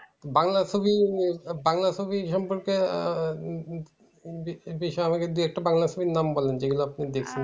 বাংলা ছবি বাংলা ছবি সম্পর্কে বিষয়ে আমাকে দু একটা বাংলা ছবির নাম বলেন যেগুলো আপনি দেখেছেন?